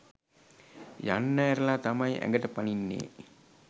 යන්න ඇරලා තමයි ඇඟට පනින්නේ.